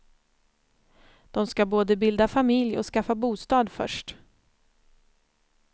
De ska både bilda familj och skaffa bostad först.